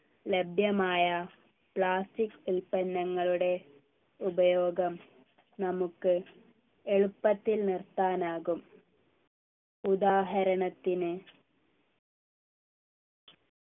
ലഭ്യമായ plastic ഉൽപ്പന്നങ്ങളുടെ ഉപയോഗം നമുക്ക് എളുപ്പത്തിൽ നിർത്താനാകും ഉദാഹരണത്തിന്